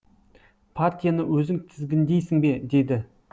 партияны өзің тізгіндейсің бе деді